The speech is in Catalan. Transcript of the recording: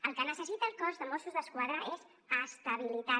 el que necessita el cos de mossos d’esquadra és estabilitat